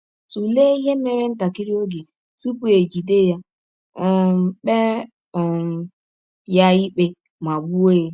Tụlee ihe mere ntakịrị oge tụpụ e jide ya, um kpee um ya ikpe, ma gbụọ ya.